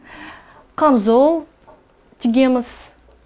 қамзол тігеміз